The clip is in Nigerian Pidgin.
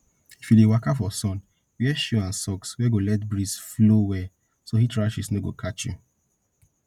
if you dey waka for sun wear shoe and socks wey go let breeze flow well so heat rash no go catch you